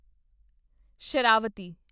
Sharavathi